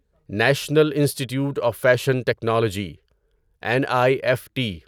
national institute of fashion technology N I F T